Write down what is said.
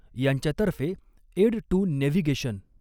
यांच्यातर्फे aid to navigation